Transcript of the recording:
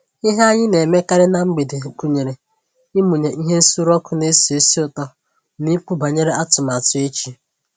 Ihe anyị na emekarị na mgbede gụnyere ịmụnye ihe nsuru ọkụ na esi ísì ụtọ na ikwu banyere atụmatụ echi